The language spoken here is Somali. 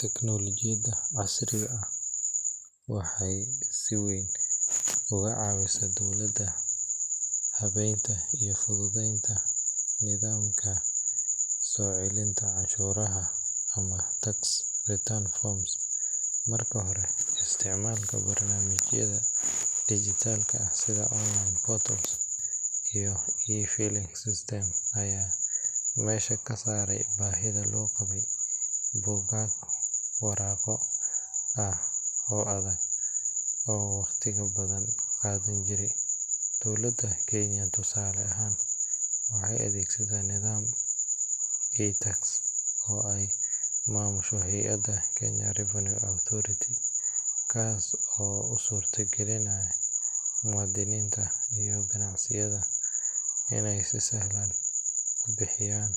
Tiknoolajiyada casriga ah waxay si weyn uga caawisaa dowladaha habeynta iyo fududeynta nidaamka soo celinta canshuuraha ama tax return forms. Marka hore, isticmaalka barnaamijyada dhijitaalka ah sida online portals iyo e-filing systems ayaa meesha ka saaray baahidii loo qabay buugaag waraaqo ah oo adag oo waqtiga badan qaadan jiray. Dowladda Kenya, tusaale ahaan, waxay adeegsataa nidaamka iTax oo ay maamusho hay’adda Kenya Revenue Authority KRA, kaas oo u suuragelinaya muwaadiniinta iyo ganacsiyada inay si sahlan u buuxiyaan